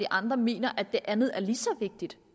andre mener at det andet er lige så vigtigt